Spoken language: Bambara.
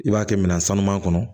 I b'a kɛ minan sanuman kɔnɔ